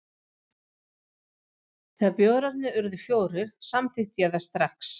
Þegar bjórarnir urðu fjórir, samþykkti ég það strax.